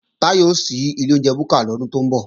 Táyọ̀ ó ṣí ilé oúnjẹ búkà lọ́dún tó ń bọ̀